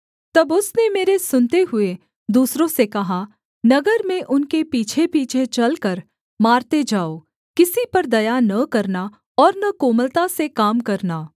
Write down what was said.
तब उसने मेरे सुनते हुए दूसरों से कहा नगर में उनके पीछेपीछे चलकर मारते जाओ किसी पर दया न करना और न कोमलता से काम करना